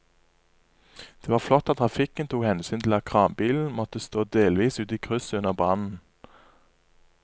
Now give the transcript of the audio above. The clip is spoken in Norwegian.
Det var flott at trafikken tok hensyn til at kranbilen måtte stå delvis ute i krysset under brannen.